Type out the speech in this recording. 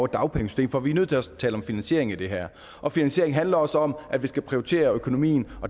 dagpengesystemet for vi er nødt til at tale om finansiering i det her og finansiering handler også om at vi skal prioritere økonomien